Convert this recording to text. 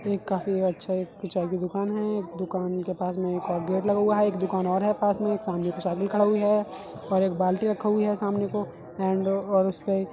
एक काफी अच्छा एक चाय की दुकान है। दुकान के पास में एक और गेट लगा हुआ है। एक दुकान और है पास में एक सामने साइकिल खड़ी हुई है और एक बाल्टी रखी हुई है। सामने को एंड और उसपे --